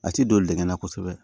A ti don nɛngɛn na kosɛbɛ